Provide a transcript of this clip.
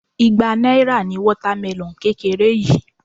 Igba náírà ni water melon kékeré yìí.